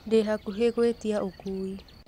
ndĩ hakuhĩ gwĩtia ũkuui